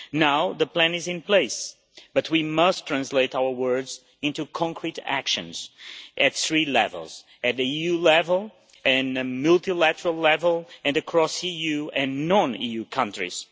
Now, the plan is in place but we must translate our words into concrete actions at three levels at EU level, at multilateral level and across EU and non-EU countries.